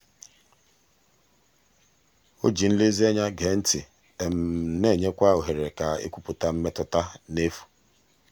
o ji nlezianya gee ntị na-enyekwa ohere ka e kwupụta mmetụta n'efu.